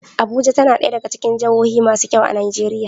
Abuja tAna daya gAna cikin jahohu masu kyau a nigeria